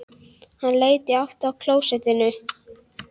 Hann leit í áttina að klósettunum.